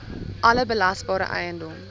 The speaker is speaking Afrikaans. alle belasbare eiendom